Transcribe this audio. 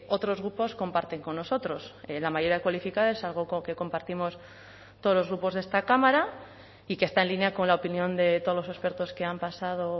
otros grupos comparten con nosotros la mayoría cualificada es algo que compartimos todos los grupos de esta cámara y que está en línea con la opinión de todos los expertos que han pasado